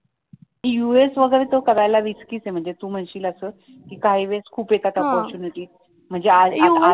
US वगैरे त्या सगळ्याला रिसकी आहे पण तू म्हणशील असं कि काही वेळेस खूप येतात opportunity म्हणजे